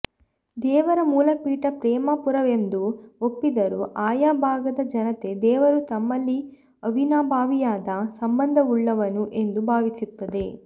ದೇವರ ಮೂಲಪೀಠ ಪ್ರೇಮರಪುರವೆಂದು ಒಪ್ಪಿದರೂ ಆಯಾ ಭಾಗದ ಜನತೆ ದೇವರು ತಮ್ಮಲ್ಲಿ ಅವಿನಾಭಾವಿಯಾದ ಸಂಬಂಧವುಳ್ಳವನು ಎಂದು ಭಾವಿಸುತ್ತದೆ